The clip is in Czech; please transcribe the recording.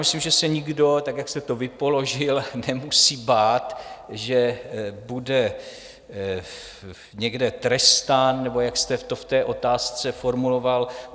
Myslím, že se nikdo tak, jak jsem to vyložil, nemusí bát, že bude někde trestán, nebo jak jste to v té otázce formuloval.